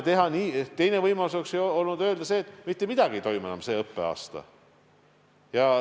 Teine võimalus oleks olnud öelda, et mitte midagi ei toimu enam see õppeaasta.